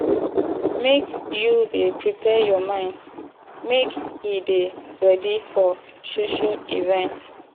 make you dey prepare your mind make e dey ready for social events